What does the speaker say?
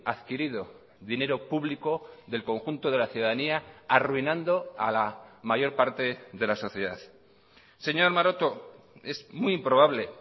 adquirido dinero público del conjunto de la ciudadanía arruinando a la mayor parte de la sociedad señor maroto es muy improbable